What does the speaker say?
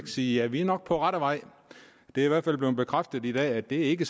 sige ja vi er nok på rette vej det er i hvert fald blev bekræftet i dag at det ikke